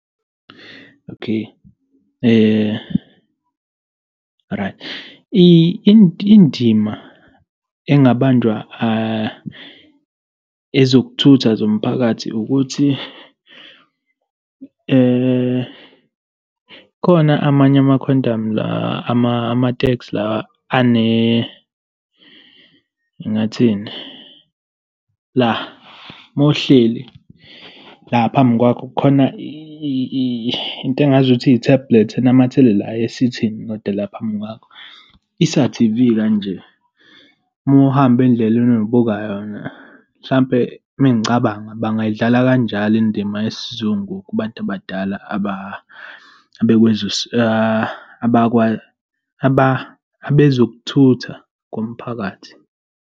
Okay, right, indima engabanjwa ezokuthutha zomphakathi ukuthi khona amanye ama-Quantam la, ama-taxi lawa , ngingathini, la mawuhleli la phambi kwakho, kukhona into engazuthi i-tablet enamathelela la esithini, kodwa la phambi kwakho, isa-T_V kanje. Uma uhamba indleleni nibuka yona. Mhlampe mengicabanga, bangayidlala kanjalo indima yesizungu kubantu abadala, abakwezokuthutha komphakathi.